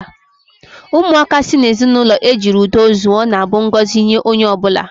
Ụmụaka si n'ezinụlọ ejiri udo zụọ na-abụ ngọzi nye onye ọ bụla.